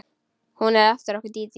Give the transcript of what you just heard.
Hún er eftir okkur Dídí.